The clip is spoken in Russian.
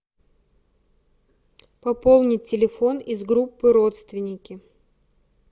пополнить телефон из группы родственники